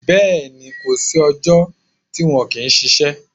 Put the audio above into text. Bẹ́ẹ̀ni. Kò sí ọjọ́ tí wọn kì í ṣiṣẹ́.